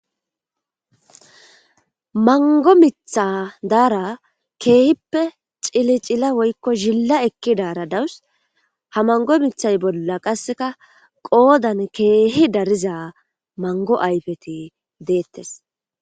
mango mitha daara keehippe cili cila woykko zilla ekki daara dawus ha mango mithay bolla qasseka qoodan keehi dariza mango ayfeti deettes